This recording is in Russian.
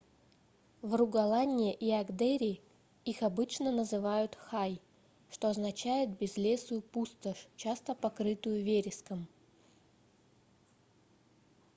в ругаланне и агдере их обычно называют hei что означает безлесую пустошь часто покрытую вереском